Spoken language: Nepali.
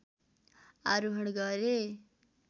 आरोहण गरे।